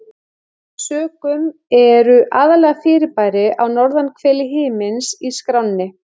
Af þeim sökum eru aðallega fyrirbæri á norðurhveli himins í skránni.